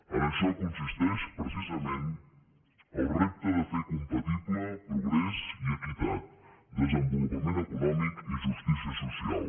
en això consisteix precisament el repte de fer compatibles progrés i equitat desenvolupament econòmic i justícia social